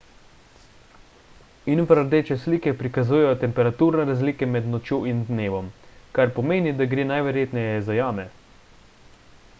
infrardeče slike prikazujejo temperaturne razlike med nočjo in dnevom kar pomeni da gre najverjetneje za jame